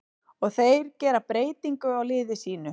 Og þeir gera breytingu á liði sínu.